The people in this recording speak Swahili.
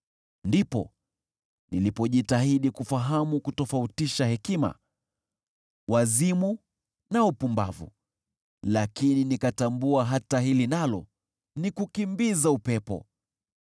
Ndipo nilipojitahidi kufahamu kutofautisha hekima, wazimu na upumbavu, lakini nikatambua hata hili nalo ni kukimbiza upepo.